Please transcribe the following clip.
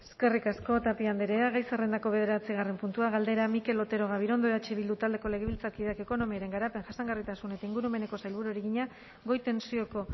eskerrik asko tapia andrea gai zerrendako bederatzigarren puntua galdera mikel otero gabirondo eh bildu taldeko legebiltzarkideak ekonomiaren garapen jasangarritasun eta ingurumeneko sailburuari egina goi tentsioko